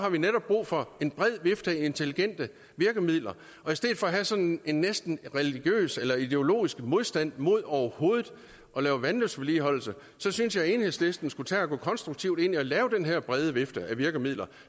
har vi netop brug for en bred vifte af intelligente virkemidler og i stedet for have en sådan næsten religiøs eller ideologisk modstand mod overhovedet at lave vandløbsvedligeholdelse synes jeg at enhedslisten skulle tage og gå konstruktivt ind i at lave den her brede vifte af virkemidler